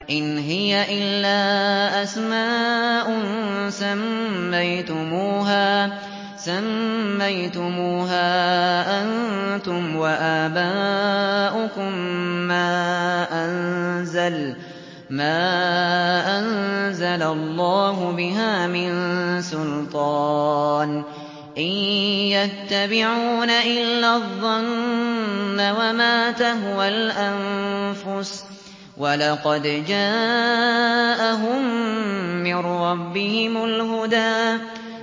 إِنْ هِيَ إِلَّا أَسْمَاءٌ سَمَّيْتُمُوهَا أَنتُمْ وَآبَاؤُكُم مَّا أَنزَلَ اللَّهُ بِهَا مِن سُلْطَانٍ ۚ إِن يَتَّبِعُونَ إِلَّا الظَّنَّ وَمَا تَهْوَى الْأَنفُسُ ۖ وَلَقَدْ جَاءَهُم مِّن رَّبِّهِمُ الْهُدَىٰ